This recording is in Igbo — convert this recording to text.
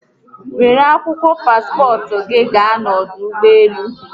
Were akwụkwọ paspọtụ gi gaa n'ọdụ ụgbọelu